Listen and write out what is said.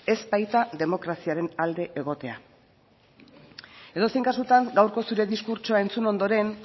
ez baita demokraziaren alde egotea edozein kasutan gaurko zure diskurtsoa entzun ondoren